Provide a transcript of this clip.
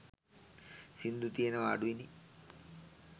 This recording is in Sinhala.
සිංදු තියෙනවා අඩුයි නේ.